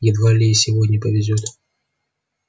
едва ли и сегодня повезёт